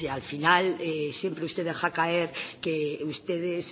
al final siempre usted deja caer que ustedes